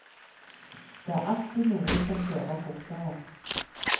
Det er alltid noen som kjører fortere.